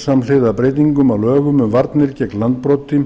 samhliða breytingum á l ögum um varnir gegn landbroti